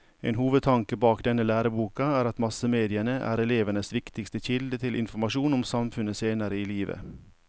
En hovedtanke bak denne læreboka er at massemediene er elevenes viktigste kilde til informasjon om samfunnet senere i livet.